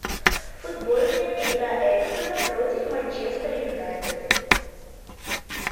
футбольная игра эвертона против манчестер юнайтед